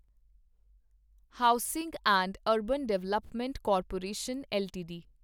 housing and urban development corporation LTD